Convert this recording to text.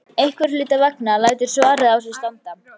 Einhverra hluta vegna lætur svarið á sér standa.